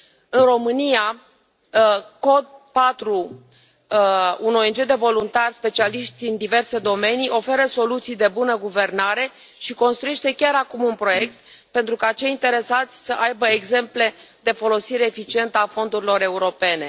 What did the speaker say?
În România, Code for Romania, un ONG de voluntari specialiști în diverse domenii, oferă soluții de bună guvernare și construiește chiar acum un proiect pentru ca cei interesați să aibă exemple de folosire eficientă a fondurilor europene.